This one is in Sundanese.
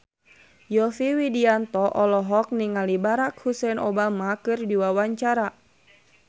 Yovie Widianto olohok ningali Barack Hussein Obama keur diwawancara